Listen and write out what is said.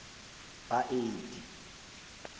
baeti